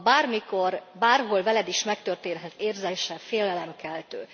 A bármikor, bárhol veled is megtörténhet érzése félelemkeltő.